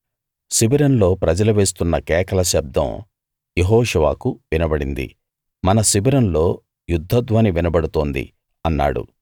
శిబిరంలో ప్రజలు వేస్తున్న కేకల శబ్దం యెహోషువకు వినబడింది మన శిబిరంలో యుద్ధ ధ్వని వినబడుతోంది అన్నాడు